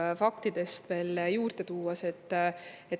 Toon fakte veel juurde.